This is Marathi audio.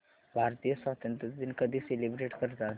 भारतीय स्वातंत्र्य दिन कधी सेलिब्रेट करतात